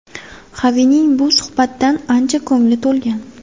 Xavining bu suhbatdan ancha ko‘ngli to‘lgan.